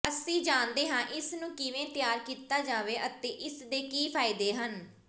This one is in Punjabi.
ਅਸੀਂ ਜਾਣਦੇ ਹਾਂ ਇਸ ਨੂੰ ਕਿਵੇਂ ਤਿਆਰ ਕੀਤਾ ਜਾਵੇ ਅਤੇ ਇਸ ਦੇ ਕੀ ਫਾਇਦੇ ਹਨ